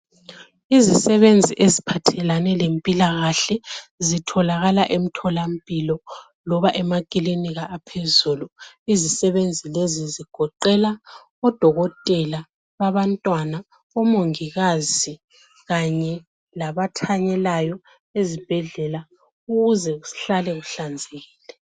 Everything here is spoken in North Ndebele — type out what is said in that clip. izisebenzi eziphathelane lempilakahle zitholakala emtholampilo emakilinika amanengi izisebenzi lezi zigoqela udokotela wabantwana umongikazi kanye labathanyelayo esibhedlela ukuze kusale kuhlale kuhlanzekile